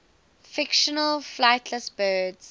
fictional flightless birds